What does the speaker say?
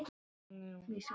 Ég veit hver gerði þetta.